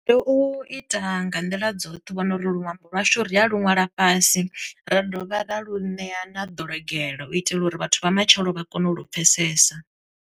Ndi u ita nga nḓila dzoṱhe vhone uri luambo lwashu ri a lu ṅwala fhasi ra dovha ra lu ṋea na ḓolegelo u itela uri vhathu vha matshelo vha kone u lu pfesesa.